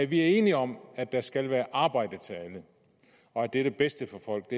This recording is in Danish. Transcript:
vi er enige om at der skal være arbejde til alle og at det er det bedste for folk